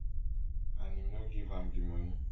and im no give am di money